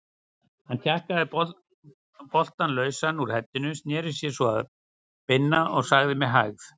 Hann tjakkaði boltann lausan úr heddinu, sneri sér svo að Binna og sagði með hægð